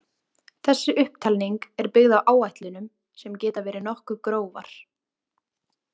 Þessi upptalning er byggð á áætlunum sem geta verið nokkuð grófar.